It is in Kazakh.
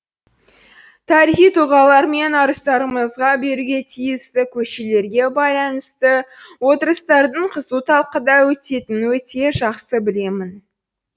тарихи тұлғалар мен арыстарымызға беруге тиісті көшелерге байланысты отырыстардың қызу талқыда өтетінін өте жақсы білемін